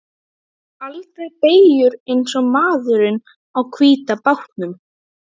Þú tekur aldrei beygjur eins og maðurinn á hvíta bátnum.